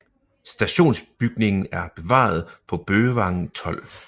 Stationsbygningen er bevaret på Bøgevangen 12